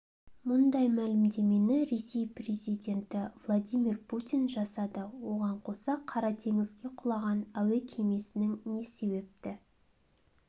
мұндай мәлімдемені ресей президенті владимир путин жасады оған қоса қара теңізге құлаған әуе кемесінің не себепті